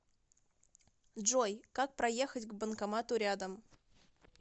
джой как проехать к банкомату рядом